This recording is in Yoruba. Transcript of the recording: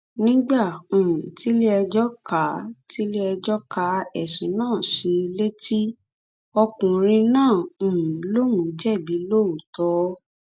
nígbà um tiléẹjọ ka tiléẹjọ ka ẹsùn náà sí i létí ọkùnrin náà um lóun jẹbi lóòótọ